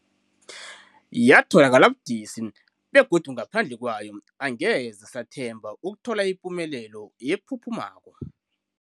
Yatholakala budisi, begodu ngaphandle kwayo angeze sathemba ukuthola ipumelelo ephuphumako.